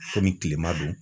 Komi kilema do.